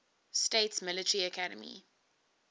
states military academy